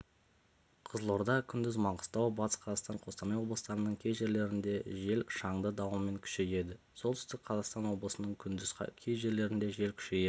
қызылорда күндіз маңғыстау батыс қазақстан қостанай облыстарының кей жерлерінде жел шаңды дауылмен күшейеді солтүстік қазақстан облысының күндіз кей жерлерінде жел күшейеді